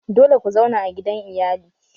Dole ku zauna a gidan iyali!